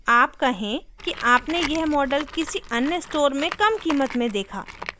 आप कहें कि आपने यह मॉडल किसी अन्य स्टोर में कम कीमत में देखा